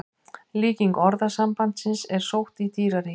Líking orðasambandsins er sótt í dýraríkið.